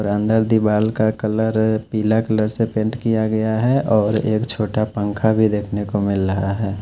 और अंदर दीवाल का कलर पीला कलर से पेंट किया गया है और एक छोटा पंखा भी देखने को मिल रहा है।